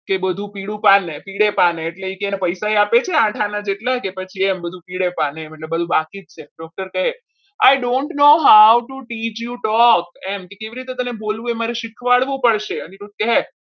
તે બધું પીડે પાને એટલે કે એને પૈસા પણ આપે છે આઠ આના જેટલા કે પછી એમ પી એ પાને એટલે કે મતલબ બધું બાકી છે doctor કહે છે I don't know how to teach you dog એમ કે તેને કેવી રીતે બોલવું એ મારે શીખવાડવું પડશે. અનિરુધ કહે